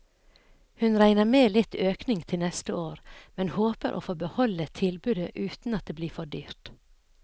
Hun regner med litt økning til neste år, men håper å få beholde tilbudet uten at det blir for dyrt.